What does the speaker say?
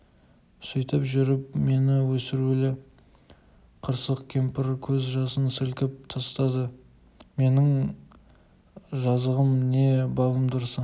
сөйтіп жүріп мені өсірулі қырсық кемпір көз жасын сілкіп тастады менің жазығым не балым дұрысы